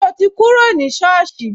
So ti kúrò ní soosi